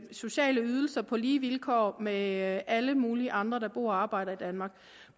sociale ydelser på lige vilkår med alle mulige andre der bor og arbejder i danmark